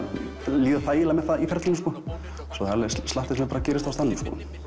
líða þægilega með það í ferlinu það er slatti sem bara gerist á staðnum